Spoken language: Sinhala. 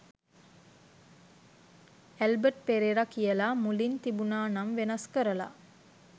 ඇල්බට් පෙරේරා කියලා මුලින් තිබුණ නම වෙනස් කරලා